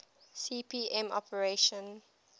cp m operating